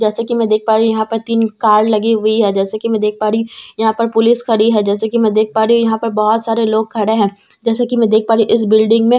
जैसा की मैं देख पा रही हूँ यहाँ पर तीन कार लगी हुई है जैसा की मैं देख पा रही हूँ यहाँ पर पुलिस खड़ी है जैसा की मैं देख पा रही हूँ यहाँ पर बहुत सारे लोग खड़े है जैसा की मैं देख पा रही हूँ इस बिल्डिंग में ।